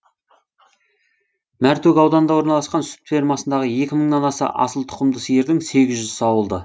мәртөк ауданында орналасқан сүт фермасындағы екі мыңнан аса асыл тұқымды сиырдың сегіз жүзі сауылды